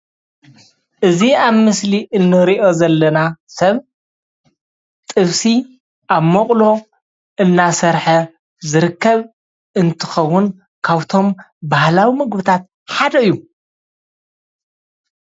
እዚ ኣብ ምስሊ እንሪኦ ዘለና ሰብ ጥብሲ ኣብ ሞቅሎ እናሰርሐ ዝርከብ እትከውን ካብቶም ባህላዊ ምግብታት ሓደ እዩ፡፡